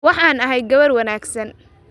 waxaan ahay gabar wanaagsan